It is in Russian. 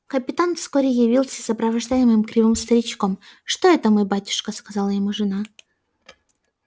капитан вскоре явился сопровождаемым кривым старичком что это мой батюшка сказала ему жена